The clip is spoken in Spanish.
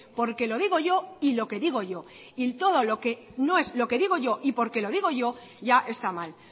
porque lo digo yo y lo que digo yo y todo lo que no es lo que digo yo y porque lo digo yo ya está mal